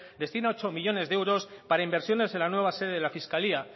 destina ocho millónes de euros para inversiones en la nueva sede de la fiscalía